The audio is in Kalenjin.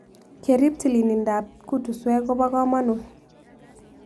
Kerip tililndop kutuswek ko po kamanut